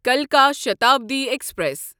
کلکا Shatabdi express